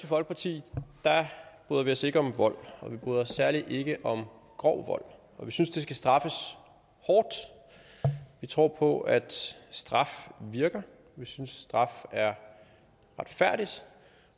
folkeparti bryder vi os ikke om vold og vi bryder os særlig ikke om grov vold vi synes det skal straffes hårdt vi tror på at straf virker vi synes straf er retfærdigt